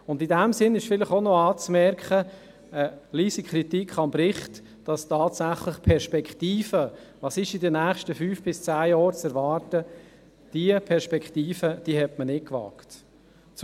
In diesem Sinn ist vielleicht auch noch eine leise Kritik am Bericht anzumerken, dahingehend, dass die Perspektive «Was ist in den nächsten fünf bis zehn Jahren zu erwarten?» tatsächlich nicht gewagt wurde.